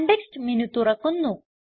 context menu തുറക്കുന്നു